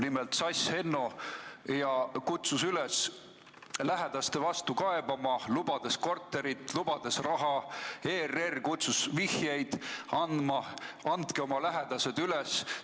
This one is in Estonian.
Nimelt kutsus Sass Henno üles lähedaste peale kaebama, lubades korterit, lubades raha, ERR kutsus vihjeid andma, et andke oma lähedased üles.